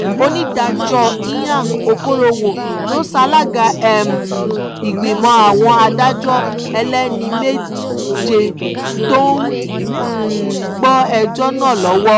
onídàájọ́ ìyang ọ̀kọ̀rọ̀wò ló ṣalága um ìgbìmọ̀ àwọn adájọ́ ẹlẹ́ni méje tó ń um gbọ́ ẹjọ́ náà lọ́wọ́